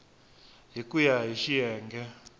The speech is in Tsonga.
hi ku ya hi xiyenge